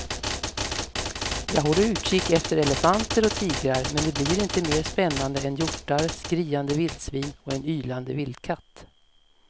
Jag håller utkik efter elefanter och tigrar men det blir inte mer spännande än hjortar, skriande vildsvin och en ylande vildkatt.